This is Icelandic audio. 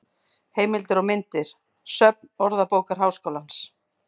Heimildir og myndir: Söfn Orðabókar Háskólans.